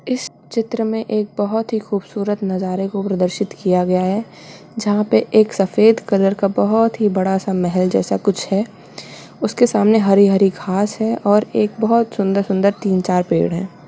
एक चित्र मे एक बहुत ही खूबसूरत नजारे को प्रदर्शित किया गया है जहाँ पे एक सफेद कलर का एक बहुत ही बडा-सा महल जैसा कुछ है उसके सामने हरी-हरी घास है और एक बहुत सुन्दर-सुन्दर तीन चार पेड़ है।